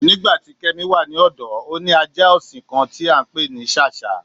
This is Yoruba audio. Nígbàtí Kẹ́mí wà ní ọ̀dọ̀, ó ní ajá ọṣìn kán tí a ǹpé ní Sáṣhá.